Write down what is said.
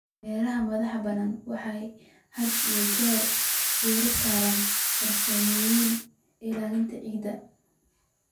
Beeraha madax-bannaan waxay had iyo jeer diiradda saaraan farsamooyinka ilaalinta ciidda.